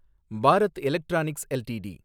Bharat electronics LTD